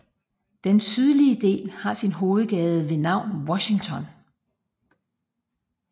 Den sydlige del har sin hovedgade ved navn Washington